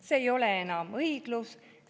See ei ole enam õiglus.